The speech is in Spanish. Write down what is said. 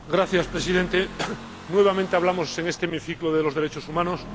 Señor Presidente, nuevamente hablamos en este hemiciclo de los derechos humanos.